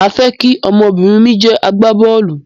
Màá fẹ́ kí ọmọ-bìnrin mi jẹ́ agbá bọ́ọ̀lù.